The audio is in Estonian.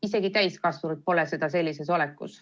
Isegi täiskasvanud ei suuda seda sellises seisundis.